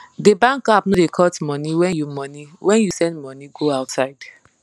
de bankapp no da cut money when you money when you send money go outside